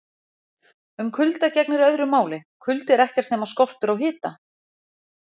Um kulda gegnir öðru máli: Kuldi er ekkert nema skortur á hita!